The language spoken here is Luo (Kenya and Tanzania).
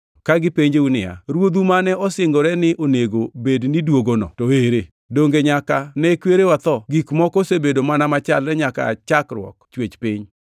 Ka gipenjou niya “Ruodhu mane osingore ni onego bed ni duogono to ere? Donge nyaka ne kwerewa tho gik moko osebedo mana machalre nyaka aa chakruok chwech piny!”